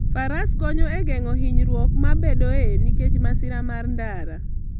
Faras konyo e geng'o hinyruok mabedoe nikech masira mar ndara.